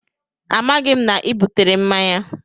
Amaghị m na ị butere mmanya